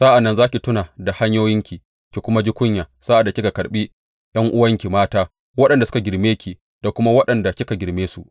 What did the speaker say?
Sa’an nan za ki tuna da hanyoyinki ki kuma ji kunya sa’ad da kika karɓi ’yan’uwanki mata, waɗanda suka girme ki da kuma waɗanda kika girme su.